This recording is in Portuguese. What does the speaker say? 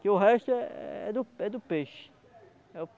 Que o resto é é do é do peixe.